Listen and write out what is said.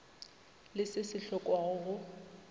le se se hlokwago go